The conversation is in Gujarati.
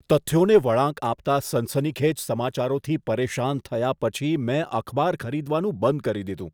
તથ્યોને વળાંક આપતા સનસનીખેજ સમાચારોથી પરેશાન થયા પછી મેં અખબાર ખરીદવાનું બંધ કરી દીધું.